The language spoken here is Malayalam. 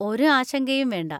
ഒരു ആശങ്കയും വേണ്ട.